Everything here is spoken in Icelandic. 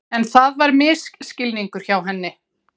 En það var misskilningur hjá henni.